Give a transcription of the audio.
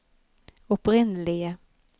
opprinnelige